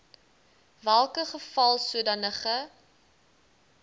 welke geval sodanige